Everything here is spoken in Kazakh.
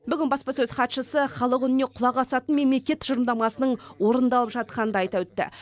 бүгін баспасөз хатшысы халық үніне құлақ асатын мемлекет тұжырымдамасының орындалып жатқанын да айта өтті